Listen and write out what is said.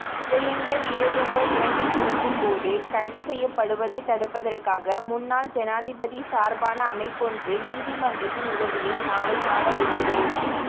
உதயங்கவீரதுங்க இலங்கை திரும்பும்போது கைதுசெய்யப்படுவதை தடுப்பதற்காக முன்னாள் ஜனாதிபதி சார்பான அமைப்பொன்று நீதிமன்றத்தின் உதவியை நாளை நாடவுள்ளது